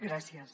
gràcies